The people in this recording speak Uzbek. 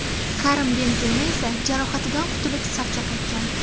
Karim Benzema esa jarohatidan qutulib safga qaytgan.